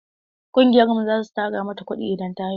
Ƙungiyar mu za su tara mata kuɗi idan ta haihu.